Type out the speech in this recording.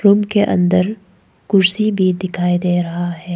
उनके अंदर कुर्सी भी दिखाई दे रहा है।